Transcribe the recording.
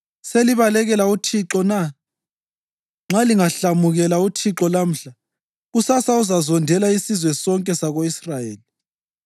Selibalekela uThixo na? Nxa lingahlamukela uThixo lamhla, kusasa uzazondela isizwe sonke sako-Israyeli: